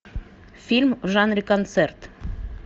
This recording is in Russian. фильм в жанре концерт